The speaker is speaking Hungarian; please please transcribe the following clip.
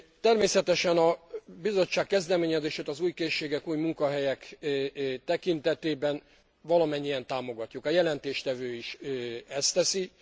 Természetesen a Bizottság kezdeményezését az új készségek, új munkahelyek tekintetében valamennyien támogatjuk, a jelentéstevő is ezt teszi.